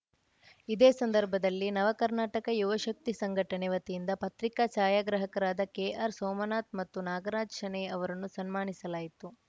ಇದೇ ಸಂದರ್ಭದಲ್ಲಿ ನವ ಕರ್ನಾಟಕ ಯುವಶಕ್ತಿ ಸಂಘಟನೆ ವತಿಯಿಂದ ಪತ್ರಿಕಾ ಛಾಯಾಗ್ರಾಹಕರಾದ ಕೆ ಆರ್‌ ಸೋಮನಾಥ್‌ ಮತ್ತು ನಾಗರಾಜ್‌ ಶಣೈ ಅವರನ್ನು ಸನ್ಮಾನಿಸಲಾಯಿತು